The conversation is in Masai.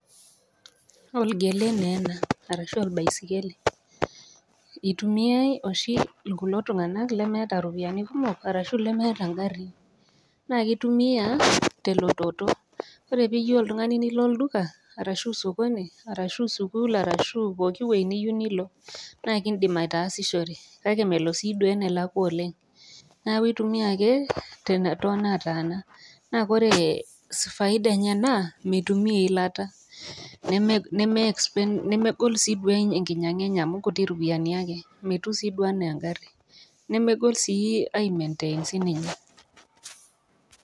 Olgele naa ena arashu olbaisikeli. Eitumiai oshi kulo tung'ana lemeeta iropiani kumok arashu lemeeta ingarin. Naa keitumia te elototo, ore pee iyou oltang'ani nilo olduka, arashu sokoni arashu sukuul arashu pooki wueji niyiou nilo naa kindim ataasishore, kake melo sii duo enelakwa sii duo oleng' kake intumia ake too nataana, naa kore faida enye naa meitumia eilata. Nemee sii duo expensive, megol sii duo ekinyang'ata enye amu inkuti ropiani ake. Metiu sii duo anaa eng'ari, nemegol sii duo ai maintain sii ninye.